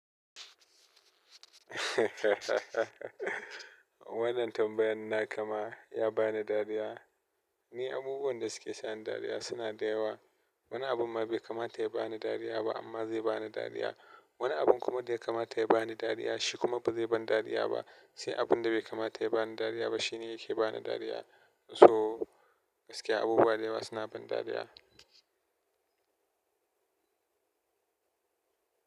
Wannan tambayan na ka ma ya bani dariya. Ni abubuwan da suke sa ni dariya suna da yawa. Wani abun ma bai kamata ya bani dariya ba amma zai bani dariya. Wani abun kuma da ya kamata ya bani dariya shi kuma ba zai bani dariya ba. Sai abun da bai kamata ya bani dariya ba shi ne yake bani dariya. So gaskiya abubuwa da yawa suna bani dariya.